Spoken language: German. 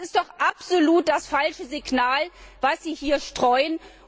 Das ist doch absolut das falsche Signal, das Sie hier setzen.